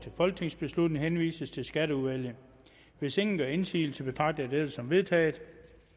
folketingsbeslutning henvises til skatteudvalget hvis ingen gør indsigelse betragter jeg dette som vedtaget